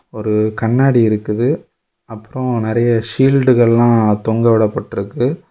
ஒரு கண்ணாடி இருக்குது அப்புறம் நறைய சீல்டுகல்லாம் தொங்கவிடப்பட்டிருக்கு.